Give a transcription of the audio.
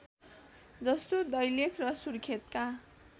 जस्तो दैलेख र सुर्खेतका